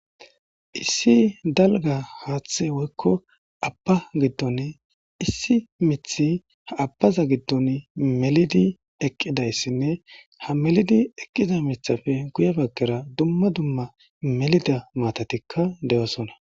Issi dalga haaththe woykko abba giddon issi mithi ha abbaza giddon melidi eqqidayssinne ha melidi eqqiza mithafe guye baggera dumma dumma melida maatatikka de'oosona.